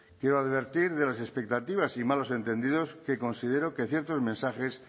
quiero advertir de las expectativas y malos entendidos que considero que ciertos mensajes